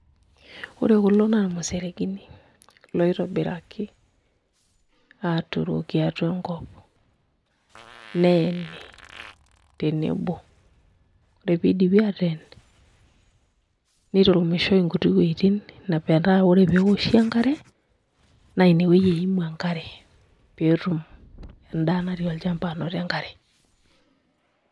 Ore kulo na irmuseregini loitobiraki aaturoki atua enkop neyeni tenebo ore piidipi aateen niturumishoi nkuti wueuitin metaa ore pee eoshi enkare naa inewueji eimu enkare pee etum endaa natii olchamba anoto enkare.